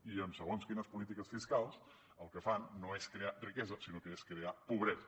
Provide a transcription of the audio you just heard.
i amb segons quines polítiques fiscals el que fan no és crear riquesa sinó que és crear pobresa